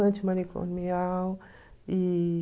Antimanicomial. E...